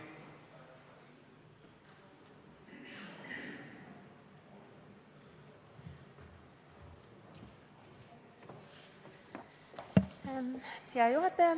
Hea juhataja!